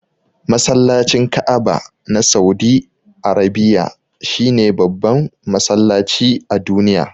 Masallacin Ka'aba na saudi Arabiya shine babban masallaci a duniya.